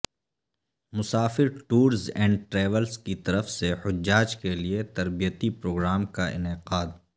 مسافر Tours and Travels کی طرف سے حجاج کیلئے تربیتی پروگرام کا انعقاد